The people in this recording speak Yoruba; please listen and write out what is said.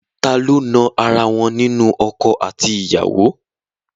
Ta ló na ara wọn nínú ọkọ àti ìyàwó?